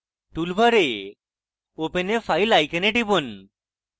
টুলবারে open a file icon টিপুন